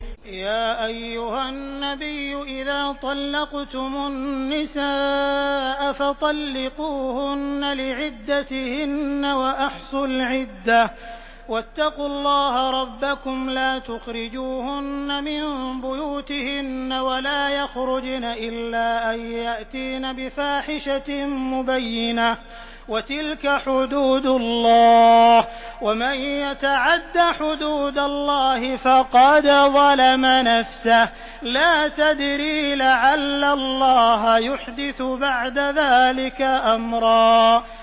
يَا أَيُّهَا النَّبِيُّ إِذَا طَلَّقْتُمُ النِّسَاءَ فَطَلِّقُوهُنَّ لِعِدَّتِهِنَّ وَأَحْصُوا الْعِدَّةَ ۖ وَاتَّقُوا اللَّهَ رَبَّكُمْ ۖ لَا تُخْرِجُوهُنَّ مِن بُيُوتِهِنَّ وَلَا يَخْرُجْنَ إِلَّا أَن يَأْتِينَ بِفَاحِشَةٍ مُّبَيِّنَةٍ ۚ وَتِلْكَ حُدُودُ اللَّهِ ۚ وَمَن يَتَعَدَّ حُدُودَ اللَّهِ فَقَدْ ظَلَمَ نَفْسَهُ ۚ لَا تَدْرِي لَعَلَّ اللَّهَ يُحْدِثُ بَعْدَ ذَٰلِكَ أَمْرًا